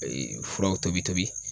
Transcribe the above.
Ee furaw tobi tobi